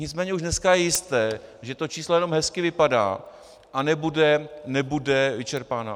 Nicméně už dneska je jisté, že to číslo jenom hezky vypadá a nebude vyčerpáno.